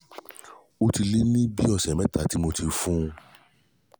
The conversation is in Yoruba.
ó ti lé ní bi ọ̀sẹ̀ mẹ́ta tí mo ti fún un